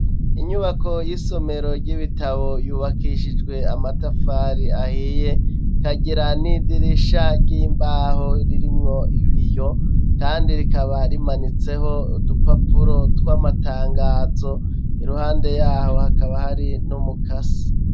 Inyubako y'isomero ry'ibitabo yubakishijwe amatafari ahiye kagira n'idirisha ry'imbaho ririmwo ibiyo kandi rikaba rimanitseho dupapuro tw'amatangazo iruhande yaho hakaba hari n'umukasi.